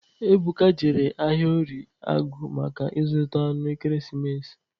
Ebuka jere ahịa orie agụ maka ịzụta anụ ekeresimesi.